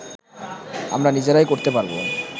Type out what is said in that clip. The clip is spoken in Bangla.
আমরা নিজেরাই করতে পারবো